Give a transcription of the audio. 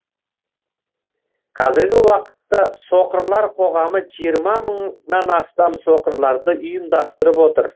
қазіргі уақытта соқырлар қоғамы жиырма мыңнан астам соқырларды ұйымдастырып отыр